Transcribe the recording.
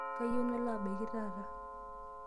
Kayie nalo abaiki taata.